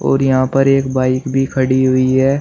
और यहां पर एक बाइक भी खड़ी हुई है।